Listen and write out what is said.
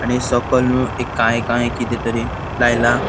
आणि सोकोल एक काळे काळे किदे तरी लायला.